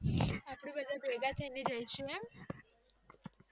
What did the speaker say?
અપડે બધા ભેગા થઈને જયસુ એમ